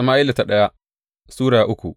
daya Sama’ila Sura uku